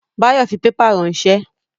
Báyọ̀ fi pépà ránsẹ́